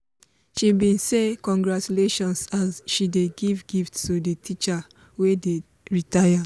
she bin say "congratulations" as she dey give gift to di teacher wey dey retire.